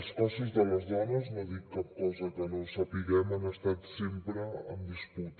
els cossos de les dones no dic cap cosa que no sapiguem han estat sempre en disputa